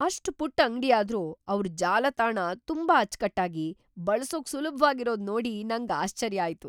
‌ಅಷ್ಟ್ ಪುಟ್ಟ್ ಅಂಗ್ಡಿಯಾದ್ರೂ ಅವ್ರ ಜಾಲತಾಣ ತುಂಬಾ ಅಚ್ಕಟ್ಟಾಗಿ, ಬಳ್ಸೋಕ್‌ ಸುಲಭ್ವಾಗಿರೋದ್‌ ನೋಡಿ ನಂಗ್‌ ಆಶ್ಚರ್ಯ ಆಯ್ತು.